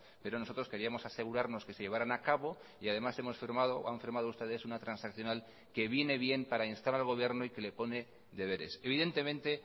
pero nosotros queríamos asegurarnos que se llevarán a cabo y además hemos firmado o han firmado ustedes una transaccional que viene bien para instar al gobierno y que le pone deberes evidentemente